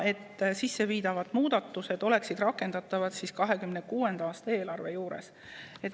Muudatused peavad olema rakendatavad 2026. aasta eelarve juures.